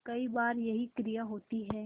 कई बार यही क्रिया होती है